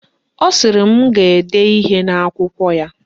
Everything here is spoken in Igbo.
Ọ sịrị m ga-ede ihe n'akwụkwọ ya